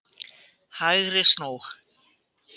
HÆGRI snú.